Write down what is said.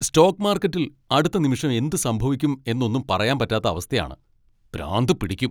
Stock മാർക്കറ്റിൽ അടുത്ത നിമിഷം എന്ത് സംഭവിക്കും എന്ന് ഒന്നും പറയാൻ പറ്റാത്ത അവസ്ഥയാണ്, പ്രാന്ത് പിടിക്കും!